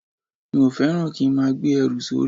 Mi ò fẹ́ràn kí n máa gbé ẹrù sórí